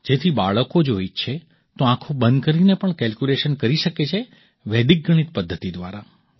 જેથી બાળકો જો ઈચ્છે તો આંખો બંધ કરીને પણ કેલ્ક્યુલેશન કરી શકે છે વૈદિક ગણિત પદ્ધતિ દ્વારા